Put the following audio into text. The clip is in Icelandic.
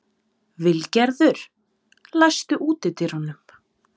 Vilgerður, læstu útidyrunum.